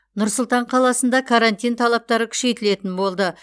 нұр сұлтан қаласында карантин талаптары күшейтілетін болды